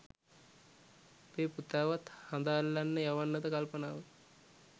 උඹේ පුතාවත් හඳ අල්ලන්න යවන්නද කල්පනාව